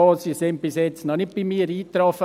Sie sind bisher noch nicht bei mir eingetroffen.